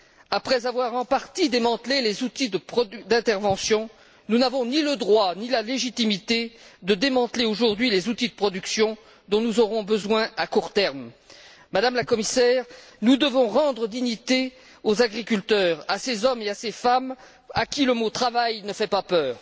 Après avoir en partie démantelé les outils d'intervention, nous n'avons ni le droit, ni la légitimité de démanteler aujourd'hui les outils de production dont nous aurons besoin à court terme. Madame la Commissaire, nous devons rendre leur dignité aux agriculteurs, à ces hommes et à ces femmes à qui le mot travail ne fait pas peur.